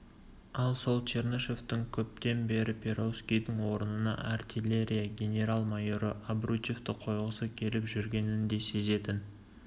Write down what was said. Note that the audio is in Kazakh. ал сол чернышевтың көптен бері перовскийдің орнына артиллерия генерал-майоры обручевті қойғысы келіп жүргенін де сезетін